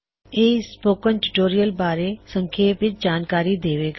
ਇਹ ਤੁਹਾਨੂੰ spoken tutorial ਬਾਰੇ ਸੰਖੇਪ ਵਿੱਚ ਜਾਣਕਾਰੀ ਦੇਵੇਗਾ